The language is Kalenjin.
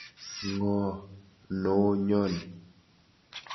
Ng'o noo nyoni.